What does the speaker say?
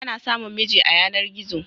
Ana samun miji a yanar-gizo.